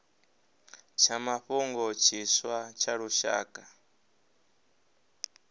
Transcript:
tsha mafhungo tshiswa tsha lushaka